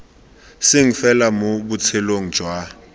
seng fela mo botshelong jwa